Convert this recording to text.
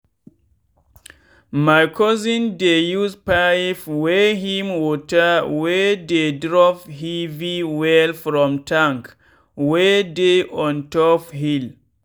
my cousin dey use pipe wey him water wey dey drop heavy wellfrom tank wey dey on top hill.